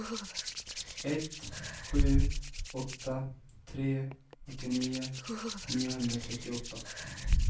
ett sju åtta tre åttionio niohundratrettioåtta